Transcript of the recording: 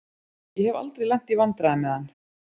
Ég hef aldrei lent í vandræðum með hann.